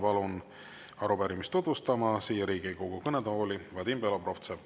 Palun arupärimist siia Riigikogu kõnetooli tutvustama Vadim Belobrovtsevi.